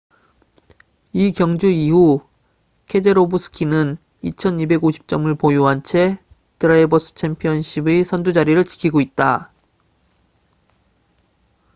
이 경주 이후 케제로브스키는 2,250점을 보유한 채 드라이버스 챔피언십의 선두 자리를 지키고 있다